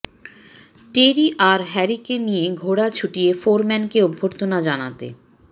টেরি আর হ্যারিকে নিয়ে ঘোড়া ছুটিয়ে ফোরম্যানকে অভ্যর্থনা জানাতে